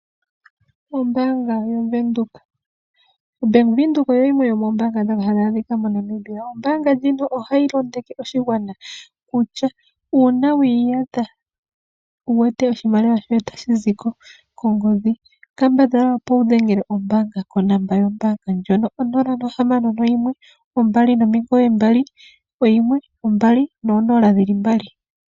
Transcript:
Ombaanga yaVenduka OBank Windhoek oyo yimwe yomoombaanga ndhono hadhi adhika moNamibia. Ombaanga ndjino ohayi londodha oshigwana kutya uuna wi iyadha wu wete oshimaliwa shoye tashi zi ko kongodhi kambadhala wu dhengele ombaanga ko 061 2991200.